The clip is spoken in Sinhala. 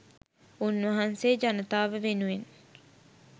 උන්වහන්සේ ජනතාව වෙනුවෙන්